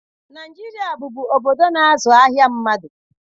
Naijiria bụbu obodo na-azụ ahịa mmadu.